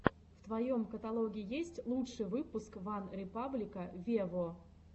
в твоем каталоге есть лучший выпуск ван репаблика вево